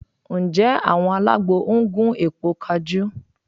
Ǹjẹ́ àwọn alágbo ń gún èpo kajú?